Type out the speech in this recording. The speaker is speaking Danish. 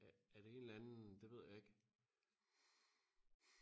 er det en eller anden det ved jeg ikke